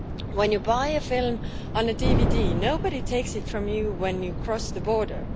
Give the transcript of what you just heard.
When you buy a film on a DVD, nobody takes it from you when you cross the border.